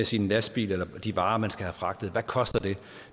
sin lastbil eller de varer man skal have fragtet hvad koster